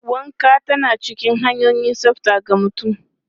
Wanka tana cikin hanyoyin tsafta ga mutum.